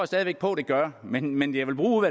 stadig væk på der gør men men jeg vil bruge